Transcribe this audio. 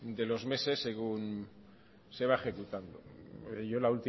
de los meses se va ejecutando yo la